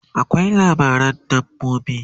akwai labaran dabbobi